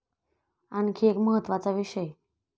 आणखी एक महत्त्वाचा विषय.